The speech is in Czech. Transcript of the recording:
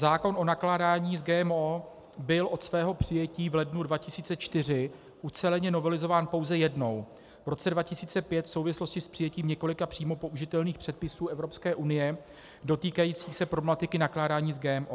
Zákon o nakládání s GMO byl od svého přijetí v lednu 2004 uceleně novelizován pouze jednou, v roce 2005, v souvislosti s přijetím několika přímo použitelných předpisů Evropské unie dotýkajících se problematiky nakládání s GMO.